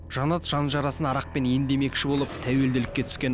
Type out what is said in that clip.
жанат жан жарасын арақпен емдемекші болып тәуелділікке түскен